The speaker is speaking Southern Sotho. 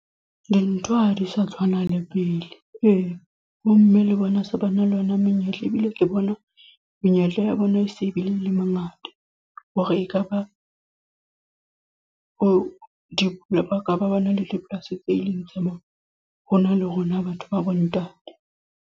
Dintho ha di sa tshwana le pele. Ee, bomme le bona se ba na le ona monyetla. Ebile ke bona, menyetla ya bona e se le mangata. Hore ekaba, o di baka ba bona le polasi tse leng tsa bona. Ho na le rona batho ba bontate.